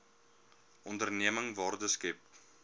onderneming waarde skep